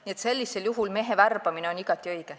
Nii et sellisel juhul on mehe värbamine igati õige.